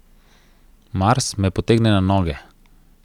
Mars me potegne na noge.